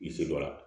I se dɔ la